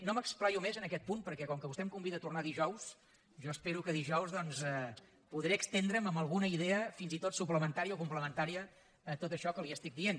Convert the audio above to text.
no m’esplaio més en aquest punt perquè com que vostè em convida a tornar dijous jo espero que dijous doncs podré estendre’m amb alguna idea fins i tot suplementària o complementària a tot això que li dic